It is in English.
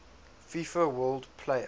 fifa world player